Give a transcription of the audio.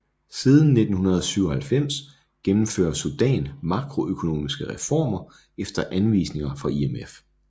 Siden 1997 gennemfører Sudan makroøkonomiske reformer efter anvisninger fra IMF